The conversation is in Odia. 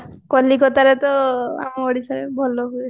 କଲିକତାରେ ତ ଆମ ଓଡିଶାରେ ଭଲ ହୁଏ